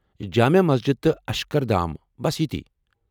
جامع مسجد تہٕ اشکردھام، بس یِتِی ۔